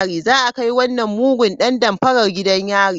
Za a kai wannan mugun dan damfara gidan yari.